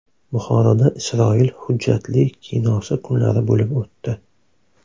Buxoroda Isroil hujjatli kinosi kunlari bo‘lib o‘tdi.